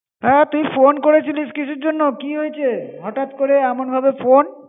হ্যাঁ তুই phone করে ছিলিস কিসের জন্য? কি হয়েছে? হটাৎ করে এমন ভাবে phone.